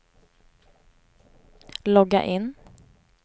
logga in